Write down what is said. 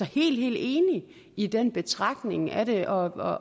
helt helt enig i den betragtning af det og